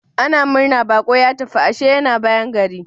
Ana murna baƙo ya tafi, ashe yana bayan gari.